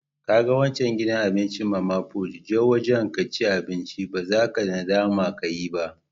Ka gan wancan gidan abincin mama put, je wajen ka ci abinci. Ba za ka nadama ka yi ba.